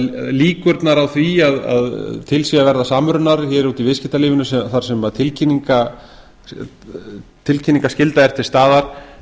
líkurnar á því að til sé að verða samrunar hér úti í viðskiptalífinu þar sem tilkynningarskyld er til staðar